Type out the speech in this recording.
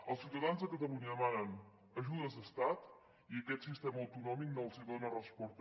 els ciutadans de catalunya demanen ajudes d’estat i aquest sistema autonòmic no els dona resposta